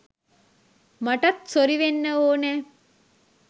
මටත් සොරි වෙන්න ඕනෑ.